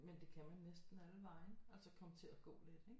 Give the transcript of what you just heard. Men det kan man næsten alle vegne altså komme til at gå lidt ikke